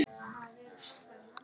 Þar kom þetta spil upp.